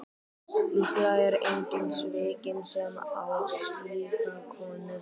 Líklega er enginn svikinn sem á slíka konu.